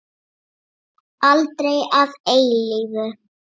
Aldrei að eilífu.